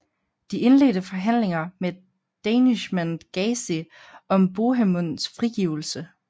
De indledte forhandlinger med Danishmend Gazi om Bohemunds frigivelse